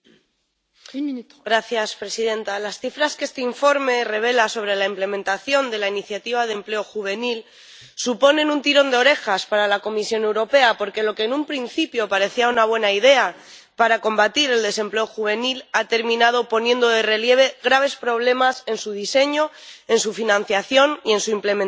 Señora presidenta, las cifras que este informe revela sobre la implementación de la Iniciativa de Empleo Juvenil suponen un tirón de orejas para la Comisión Europea, porque lo que en un principio parecía una buena idea para combatir el desempleo juvenil, ha terminado poniendo de relieve graves problemas en su diseño, en su financiación y en su implementación.